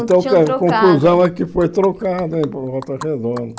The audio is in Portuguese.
Então foi trocado A conclusão é que foi trocado aí por volta redonda.